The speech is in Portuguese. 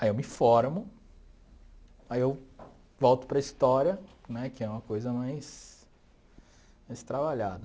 Aí eu me formo, aí eu volto para a história, né, que é uma coisa mais mais trabalhada.